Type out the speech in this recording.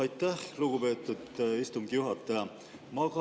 Aitäh, lugupeetud istungi juhataja!